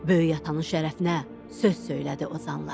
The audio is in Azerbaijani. Böyük atanın şərəfinə söz söylədi ozanlar.